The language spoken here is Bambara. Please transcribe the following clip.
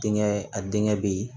Denkɛ a denkɛ bɛ ye